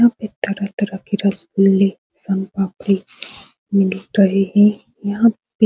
इसमें तरह-तरह के रसगुल्ले सोनपापड़ी मिल रहे है यहाँ पे --